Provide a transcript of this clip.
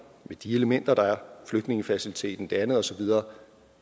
med de elementer der er flygtningefaciliteten og det andet og så videre